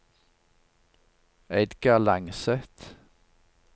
Edgar Langseth